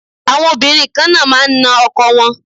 Àwọn Obìnrin kan náà máa ń na ọkọ wọn.